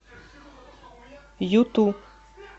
юту